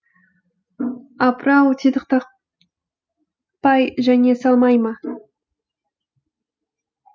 апырау титықтатпай жеңе салмай ма